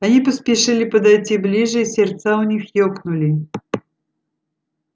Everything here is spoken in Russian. они поспешили подойти ближе и сердца у них ёкнули